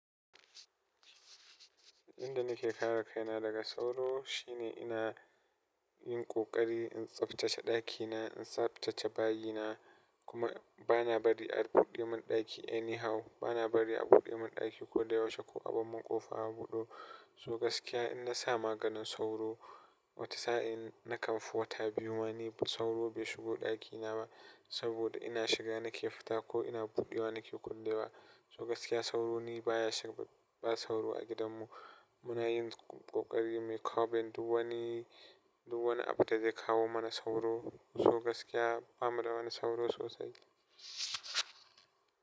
Inda nake kare kaina daga sauro shine ina yin ƙoƙari in tsaftace ɗakina, in tsaftace bayi na kuma bana bari a rika buɗe mun ɗaki anyhow. Bana bari a buɗe mun ɗaki ko da yaushe ko abar min ƙofa a buɗe. Toh gaskiya inna sa maganin sauro wata sa'in nakan fi wata biyu ma sauro bai shigo daki na ba saboda ina shiga nake fita ko ina budewa nake kullewa. So gaskiya sauro ni baya shiga ba sauro a gidanmu. Muna yin ƙoƙari muyi coving duk wani, duk wani abunda zai kawo mana sauro. So gaskiya bamu da wani sauro sosai.